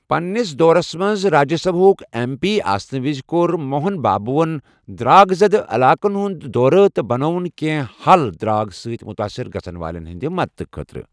پننِس دورَس منٛز راجیہ سبھا ہُک ایم پی آسنہٕ وِز کوٚر موہن بابون درٚاک زدٕ علاقن ہُنٛد دورٕ تہٕ بَنٲوِن کینٛہہ حل درٚاگہٕ سۭتۍ متٲثر گژھن والٮ۪ن ہنٛد مدتہٕ خٲطرٕ۔